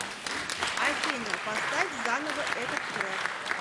афина поставь заново этот трек